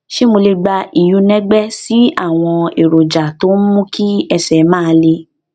ṣé mo lè gba ìyúnẹgbẹ sí àwọn èròjà tó ń mú kí ẹsè máa le